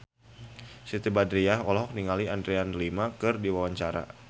Siti Badriah olohok ningali Adriana Lima keur diwawancara